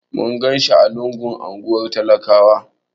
Mun ganshi a lungun unguwar talakawa.